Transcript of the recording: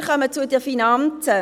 Wir kommen zu den Finanzen.